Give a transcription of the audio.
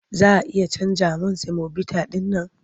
Za a iya canja min semobita ɗin man?